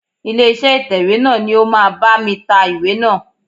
Ilé iṣẹ́ ìtẹ̀wẹ́ náà ni ó máa bá mi ta ìwé náà.